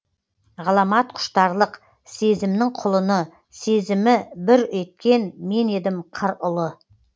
ғаламат құштарлық сезімнің құлыны сезімі бүр атқан мен едім қыр ұлы